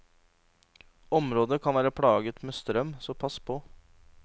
Området kan være plaget med strøm, så pass på.